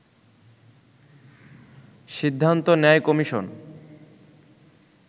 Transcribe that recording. সিদ্ধান্ত নেয় কমিশন